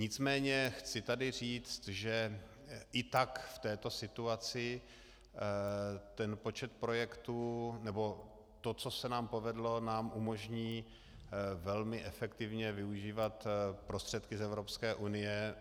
Nicméně chci tady říct, že i tak v této situaci ten počet projektů nebo to, co se nám povedlo, nám umožní velmi efektivně využívat prostředky z Evropské unie.